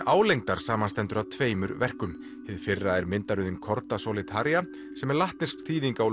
álengdar samanstendur af tveimur verkum hið fyrra er Cordasolei Taria sem er latnesk þýðing á